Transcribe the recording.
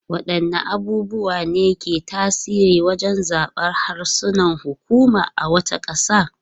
Wadanne abubuwa ne ke tasiri wajen zabar harshen hukuma a wata kasa?